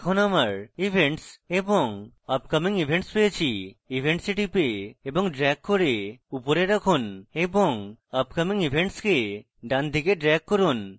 এখন আমার events এবং upcoming events পেয়েছি events we টিপে এবং ড্রেগ করে উপরে রাখুন এবং upcoming events কে ডানদিকে ড্রেগ করুন